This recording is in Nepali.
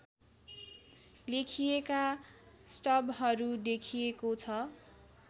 लेखिएका स्टबहरू देखिएको छ